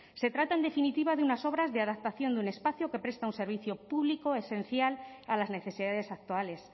se trata en definitiva de unas obras de adaptación de un espacio que presta un servicio público esencial a las necesidades actuales